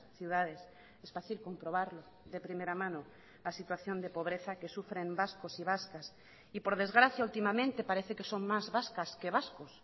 ciudades es fácil comprobarlo de primera mano la situación de pobreza que sufren vascos y vascas y por desgracia últimamente parece que son más vascas que vascos